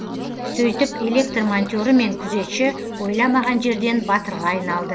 сөйтіп электр монтері мен күзетші ойламаған жерден батырға айналды